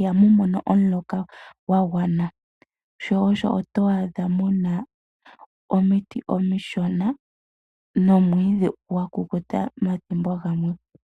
iha mu mono omuloka gwa gwana shoosho to adha mu na omiti omishona nomwiidhi gwa kukuta omathimbo ogamwe.